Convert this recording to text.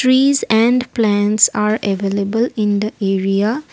trees and plants are available in the area.